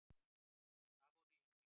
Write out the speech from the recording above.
Já það vona ég innilega.